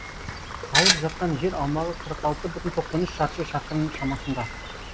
алып жатқан жер аумағы қырық алты бүтін тоқсан үш шаршы шақырым шамасында